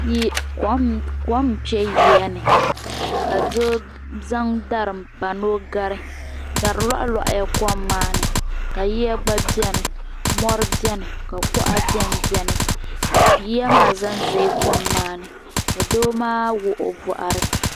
Kom n kpe yiya ni ka d zaŋ dari m pa ni o gari dari lohi lohila kom maani ka yiya gba biɛni mori biɛni ka kuɣa biɛnbiɛni yiya maa zanzala kom maani ka doo maa wuɣi o boɣari.